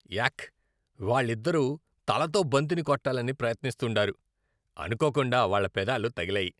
యాక్! వాళ్ళిద్దరూ తలతో బంతిని కొట్టాలని ప్రయత్నిస్తుండారు, అనుకోకుండా వాళ్ళ పెదాలు తగిలాయి.